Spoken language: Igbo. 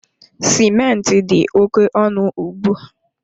Simenti dị oké ọnụ ugbu a.